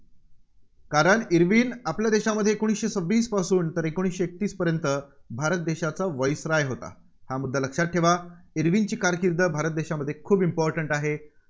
कारण इर्विन आपल्या देशामध्ये एकोणीसशे सव्वीसपासून ते एकोणीसशे एकतीसपर्यंत भारत देशाचा viceroy होता. हा मुद्दा लक्षात ठेवा. इर्विनची कारकिर्द भारत देशामध्ये खूप important आहे.